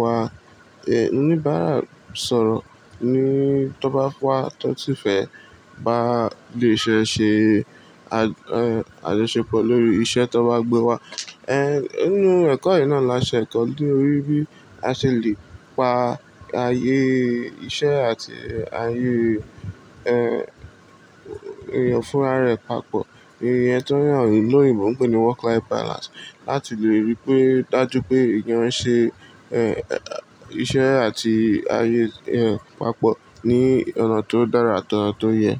wa. Ẹ oníbàárà sọ̀rọ̀ ni tó bá wá tó ti fẹ́ bá lè ṣe ṣe àjọṣepọ̀ lórí iṣẹ́ tó bá gbé wá. Ẹ nínú ẹ̀kọ́ yìí náà la ṣe ẹ̀kọ́ lóri bí a ṣe lè pa ayé iṣẹ́ àti ayé ènìyàn fúnra rẹ̀ papọ̀. Iyen ti awon oloyinbo pè ní work life balance. Láti lè rí pé, dájú pé ènìyàn ṣe iṣẹ́ àti ayé ẹ papọ̀ ní ọ̀nà tó dára, ati ọ̀nà tó yẹ.